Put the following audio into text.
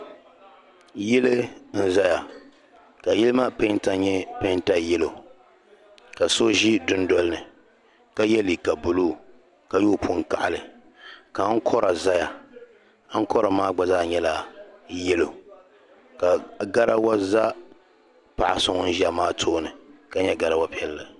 yili n-zaya ka yili maa peenta nyɛ peenta yɛlo ka so ʒi dundoli ni ka ye liiga buluu ka yooi puni kaɣili ka ankɔra zaya ankɔra maa gba zaa nyɛla yɛlo ka garawa za paɣa so ŋun ʒia maa tooni ka nyɛ garawa piɛlli